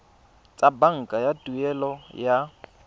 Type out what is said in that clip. tsa banka tsa tuelo ya